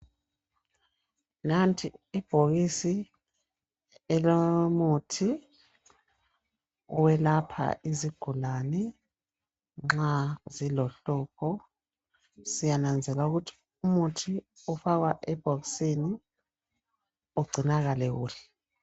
Nathi ibhokisi elomuthi, oyelapha izigulani, nxa zilehlupho. Siyananzelela ukuthi umuthi ofakwa ebhokisini ugcinakale kuhle.